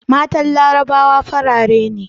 Matan larabawa farare ne